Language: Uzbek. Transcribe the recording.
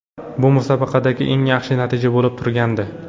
Bu musobaqadagi eng yaxshi natija bo‘lib turgandi.